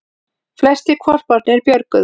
Flestir hvolparnir björguðust